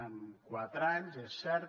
en quatre anys és cert